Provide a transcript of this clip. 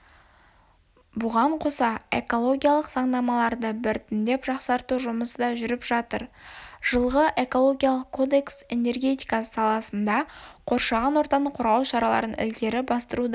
бұған қоса экологиялық заңнамаларды біртіңдеп жақсарту жұмысы да жүріп жатыр жылғы экологиялық кодекс энергетика саласында қоршаған ортаны қорғау шараларын ілгері бастыруды